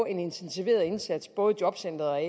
en intensiveret indsats både i jobcentret og i